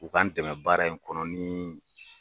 U k'an dɛmɛ baara in kɔnɔ ni